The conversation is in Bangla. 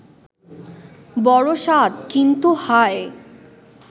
বড় সাধ ; কিন্তু হায়